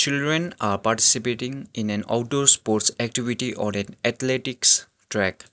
children are participating in an outdoor sports activity or an athletics track.